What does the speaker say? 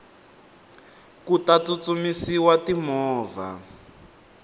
ku ta tsutsumisiwa ti movha